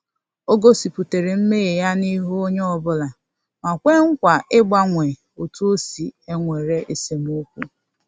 Ọ gosipụtara mmehie ya n’ihu onyeobula ma kwee nkwa ịgbanwe otu osi ewere esemokwu